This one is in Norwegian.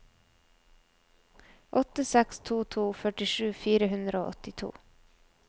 åtte seks to to førtisju fire hundre og åttito